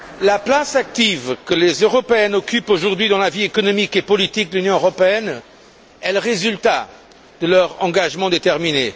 La place active que les Européennes occupent aujourd'hui dans la vie économique et politique de l'Union européenne est le résultat de leur engagement déterminé.